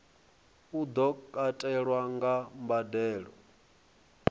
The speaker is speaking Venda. u do katelwa kha mbadelo